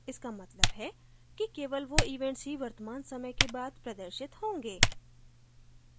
इसका मतलब है कि केवल वो events ही वर्तमान समय के बाद प्रदर्शित होंगे